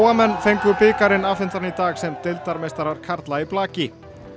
menn fengu bikarinn afhentan í dag sem deildarmeistarar karla í blaki